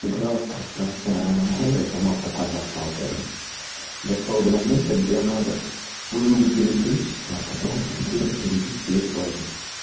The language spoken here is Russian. играл в пространственную аномалию томат такое на сталкер дошёл до момента где надо вырубить электричество потом тихо перебить весь лагерь